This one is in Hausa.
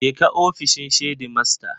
Je ka ofishin shedimasta.